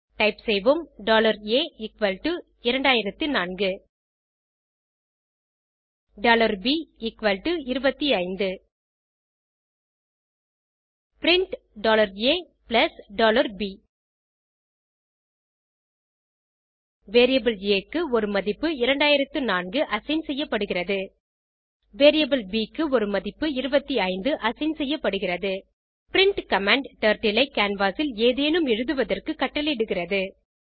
type செய்வோம்a 2004 b 25 print a b variable ஆ க்கு ஒரு மதிப்பு 2004 அசைன் செய்யப்படுகிறது வேரியபிள் ப் க்கு ஒரு மதிப்பு 25 அசைன் செய்யப்படுகிறது பிரின்ட் கமாண்ட் டர்ட்டில் ஐ கேன்வாஸ் ல் ஏதேனும் எழுதுவதற்கு கட்டளையிடுகிறது